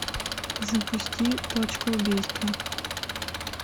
запусти точка убийства